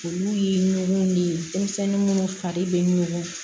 Olu ye nuw de ye denmisɛnnin munnu fari bɛ nugu